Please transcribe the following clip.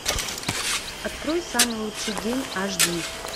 открой самый лучший день аш ди